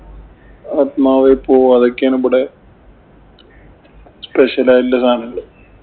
ആത്മാവേ പൊ ഇതൊക്കെയാണിവിടെ special ആയിട്ടുള്ള സാധങ്ങള്.